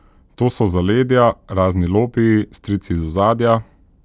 To so zaledja, razni lobiji, strici iz ozadja ...